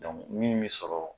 min bɛ sɔrɔ